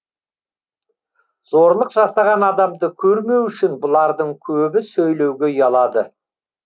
зорлық жасаған адамды көрмеу үшін бұлардың көбі сөйлеуге ұялады